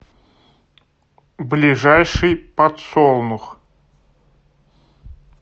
ближайший подсолнух